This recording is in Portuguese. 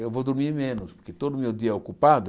Eu vou dormir menos, porque todo o meu dia é ocupado.